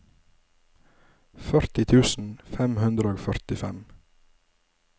førti tusen fem hundre og førtifem